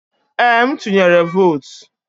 Ee, m tuyere votu.